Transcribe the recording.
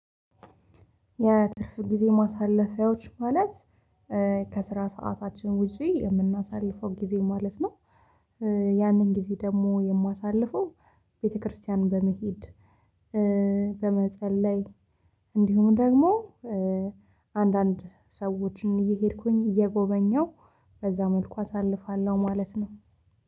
የትርፍ ጊዜ ማሳለፊያዎች ማለት ከስራ ሰዓታችን ውጪ የምናሳልፈው ጊዜ ማለት ነው። ያንን ጊዜ ደግሞ የማሳልፈው። ቤተክርስቲያን በመሄድ በመጸለይ እንዲሁም ደግሞ። አንዳንድ ሰዎችን እየሄድኩኝ እየጎበኘሁ በዛ መልኩ አሳልፋለሁ ማለት ነው